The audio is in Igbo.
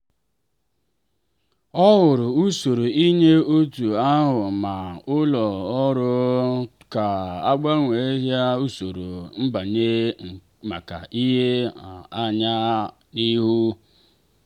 ọ hụrụ usoro inye ọrụ ahụ ma tụọ aro ka a agbanwee usoro nbanye maka ile anya n'ihu.